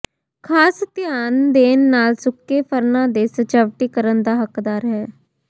ਖਾਸ ਧਿਆਨ ਦੇਣ ਨਾਲ ਸੁੱਕੇ ਫ਼ਰਨਾਂ ਦੇ ਸਜਾਵਟੀਕਰਨ ਦਾ ਹੱਕਦਾਰ ਹੈ